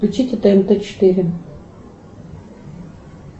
включите тнт четыре